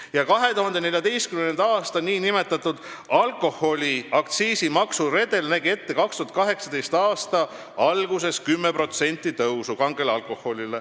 Ja 2014. aasta nn alkoholiaktsiisi maksuredel nägi 2018. aasta alguses ette kange alkoholi aktsiisi tõusu 10%.